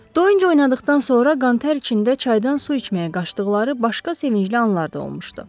Doyunca oynadıqdan sonra qan-tər içində çaydan su içməyə qaçdıqları başqa sevincli anlar da olmuşdu.